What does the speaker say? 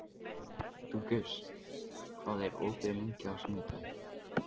Dufgus, hvað er opið lengi á sunnudaginn?